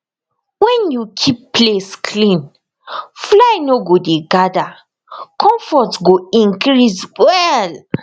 when you keep place clean fly no go dey gather comfort go increase well